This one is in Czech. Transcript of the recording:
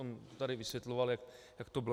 On tady vysvětloval, jak to bylo.